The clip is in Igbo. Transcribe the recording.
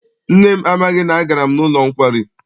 Nne m amaghị na agara m n'ụlọ nkwari.